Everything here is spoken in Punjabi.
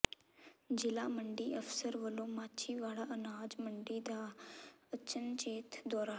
ਜ਼ਿਲ੍ਹਾ ਮੰਡੀ ਅਫ਼ਸਰ ਵੱਲੋਂ ਮਾਛੀਵਾੜਾ ਅਨਾਜ ਮੰਡੀ ਦਾ ਅਚਨਚੇਤ ਦੌਰਾ